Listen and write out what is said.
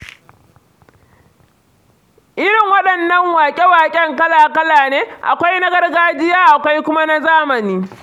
Irin waɗannan waƙe-waƙen kala-kala ne, akwai na gargajiya akwai kuma na zamani.